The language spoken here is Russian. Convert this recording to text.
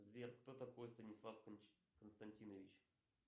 сбер кто такой станислав константинович